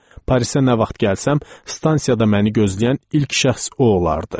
Parisə nə vaxt gəlsəm, stansiyada məni gözləyən ilk şəxs o olardı.